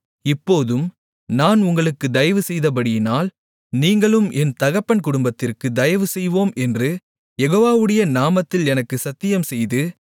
இப்போதும் நான் உங்களுக்கு தயவுசெய்தபடியினால் நீங்களும் என் தகப்பன் குடும்பத்திற்கு தயவுசெய்வோம் என்று யெகோவாவுடைய நாமத்தில் எனக்கு சத்தியம் செய்து